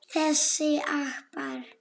Þessir apar!